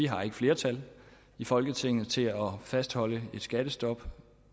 har flertal i folketinget til at fastholde et skattestop